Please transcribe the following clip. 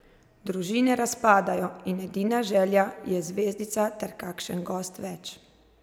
Družine razpadajo in edina želja je zvezdica ter kakšen gost več.